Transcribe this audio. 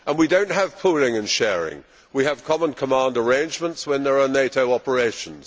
And we do not have pooling and sharing, we have common command arrangements when there are NATO operations.